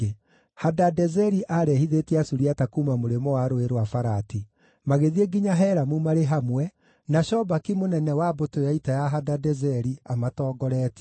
Hadadezeri aarehithĩtie Asuriata kuuma mũrĩmo wa Rũũĩ rwa Farati; magĩthiĩ nginya Helamu marĩ hamwe, na Shobaki mũnene wa mbũtũ ya ita ya Hedadezeri, amatongoretie.